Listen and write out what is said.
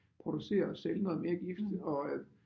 Producere og sælge noget mere gift og øh